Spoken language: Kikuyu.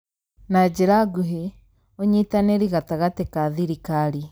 Na njĩra nguhĩ, ũnyitanĩri gatagatĩ ka thirikari,